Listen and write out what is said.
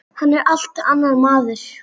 Hann er allt annar maður.